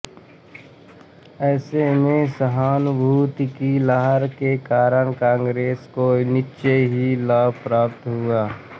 ऐसे में सहानुभूति की लहर के कारण कांग्रेस को निश्चय ही लाभ प्राप्त हुआ